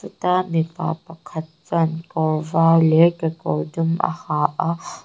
mipa pakhat chuan kawr var leh kekawr dum a ha a.